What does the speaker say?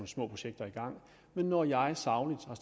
små projekter i gang men når jeg sagligt